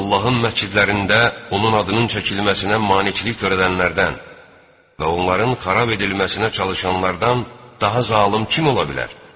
Allahın məscidlərində onun adının çəkilməsinə maneçilik törədənlərdən və onların xarab edilməsinə çalışanlardan daha zalım kim ola bilər?